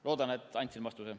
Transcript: Loodan, et andsin vastuse.